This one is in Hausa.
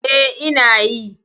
E, ina yi.